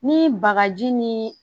Ni bagaji ni